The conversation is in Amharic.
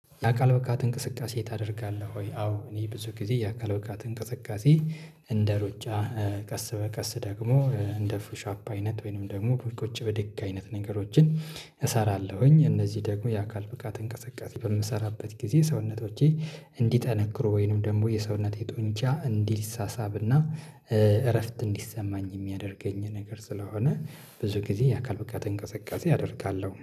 የአካል ብቃት እንቅስቃሴ ታደርጋለህ ወይ? አዎ እኔ ብዙ ጊዜ የአካል ብቃት እንቅስቃሴ እንደ ሩጫ ቀስ በቀስ ደግሞ እንደ ፑሽ አፕ አይነት ወይንም ደግሞ ቁጭ ብድግ አይነት ነገሮችን እሰራለሁኝ እነዚህ ደግሞ የአካል ብቃት እንቅስቃሴ በምሰራበት ጊዜ ሰውነቶቼ እንዲጠነክሩ ወይንም ደግሞ የሰውነቴ ጡንቻ እንዲሳሳብና እረፍት እንዲሰማኝ የሚያደርገኝ ነገር ስለሆነ ብዙ ጊዜ የአካል ብቃት እንቅስቃሴ አደርጋለሁ